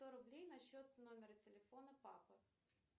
сто рублей на счет номера телефона папы